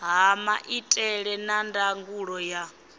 ha maitele a ndangulo ya